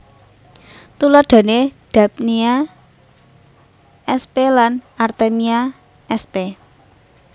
Tuladhané Daphnia sp lan Artemia sp